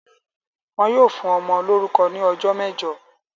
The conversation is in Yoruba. Wọn yóò fún ọmọ lórúkọ ní ọjọ́ mẹ́jọ!